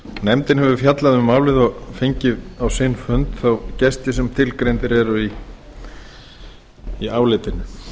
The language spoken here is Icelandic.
nefndin hefur fjallað um málið og fengið á sinn fund þá gesti sem tilgreindir eru í álitinu